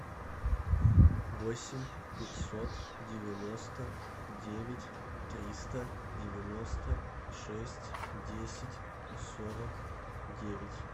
восемь пятьсот девяносто девять триста девяносто шесть десять сорок девять